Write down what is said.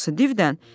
Hansı divdən?